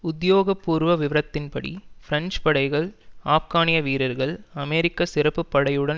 உத்தியோகபூர்வ விவரத்தின்படி பிரெஞ்சு படைகள் ஆப்கானிய வீரர்கள் மற்றும் அமெரிக்க சிறப்பு படையுடன்